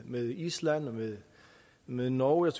med island og med norge og